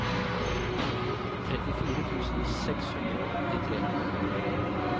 trettifire tusen seks hundre og åttitre